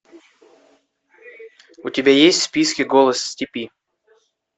у тебя есть в списке голос степи